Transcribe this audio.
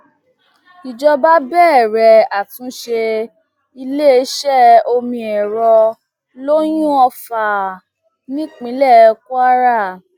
ìjọba bẹrẹ àtúnṣe iléeṣẹ omiẹrọ loyúnọfà nípínlẹ kwara